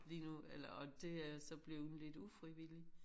Lige nu eller og det er jeg så bleven lidt ufrivilligt